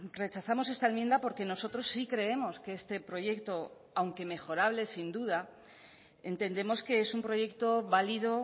rechazamos esta enmienda porque nosotros sí creemos que este proyecto aunque mejorable sin duda entendemos que es un proyecto válido